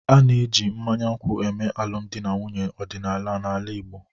A na-eji mmanya nkwụ eme alụmdi na nwunye ọdịnala n'ala Igbo